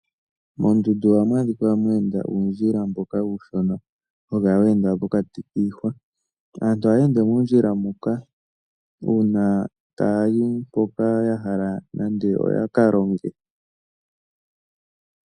Moondundu ohamu adhikwa mwa enda uundjila mboka uushona hawu kala we enda pokati kiihwa, aantu ohaya ende muundjila muka, uuna taya yi mpoka nande ya hala yaka longe.